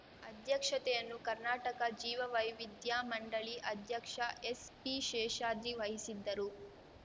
ಅಧ್ಯಕ್ಷತೆಯನ್ನು ಕರ್ನಾಟಕ ಜೀವ ವೈವಿಧ್ಯ ಮಂಡಳಿ ಅಧ್ಯಕ್ಷ ಎಸ್‌ಪಿ ಶೇಷಾದ್ರಿ ವಹಿಸಿದ್ದರು